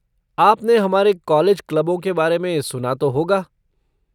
आपने हमारे कॉलेज क्लबों के बारे में सुना तो होगा।